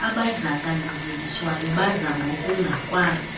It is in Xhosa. abadlakazeliswayo badla ngokungakwazi